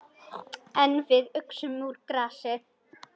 En við uxum úr grasi.